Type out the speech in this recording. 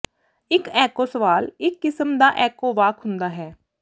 ਇਕ ਐਕੋ ਸਵਾਲ ਇਕ ਕਿਸਮ ਦਾ ਐੱਕੋ ਵਾਕ ਹੁੰਦਾ ਹੈ